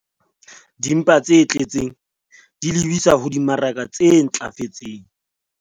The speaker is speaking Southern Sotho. Dimpa tse tletseng di lebisa ho dimaraka tse ntlafetseng